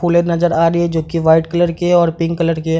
फूले नजर आ रही हैंजो की व्हाइट कलर की है और पिंक कलर की है।